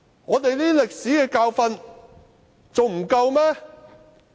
我們這些歷史教訓還不夠嗎？